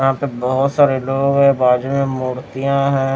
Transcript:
यहां तो बहुत सारे लोग हैं बाजू में मूर्तियां हैं।